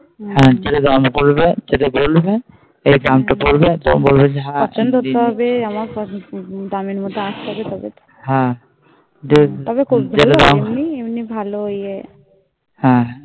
হ্যাঁ যেটা দাম করবে সেটা বলবে এই দাম টা বলবে তখন বলবে পছন্দ করতে হবে দামের মধ্যে আস্তে হবে তবে তো হ্যাঁ তবে খদ্দের এমনি এমনি ভালো এ